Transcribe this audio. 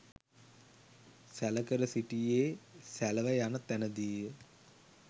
සැලකර සිටියේ සැලව යන තැනදීය.